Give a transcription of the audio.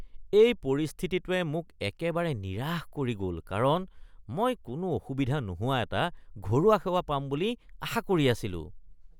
এই পৰিস্থিতিটোৱে মোক একেবাৰে নিৰাশ কৰি গ'ল কাৰণ মই কোনো অসুবিধা নোহোৱা এটা ঘৰুৱা সেৱা পাম বুলি আশা কৰি আছিলোঁ।